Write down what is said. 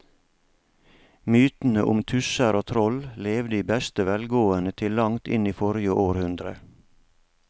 Mytene om tusser og troll levde i beste velgående til langt inn i forrige århundre.